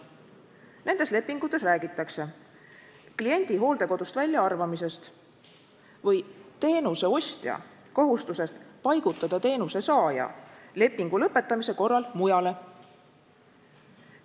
Nendes lepingutes räägitakse "kliendi hooldekodust väljaarvamisest" või "teenuse ostja kohustusest paigutada teenuse saaja lepingu lõpetamise korral mujale".